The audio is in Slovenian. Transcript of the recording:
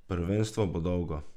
Prvenstvo bo dolgo.